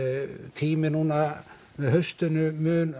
tími núna með haustinu mun